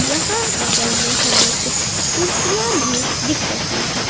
यहां बगल में हमें कुछ कुर्सियां भी दिख रही हैं।